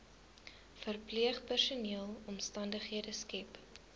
verpleegpersoneel omstandighede skep